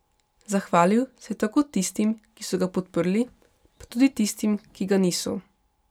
Zahvalil se je tako tistim, ki so ga podprli, pa tudi tistim, ki ga niso.